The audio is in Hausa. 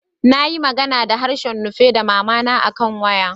N'na magana da harshen Nupe da mama ta akan waya.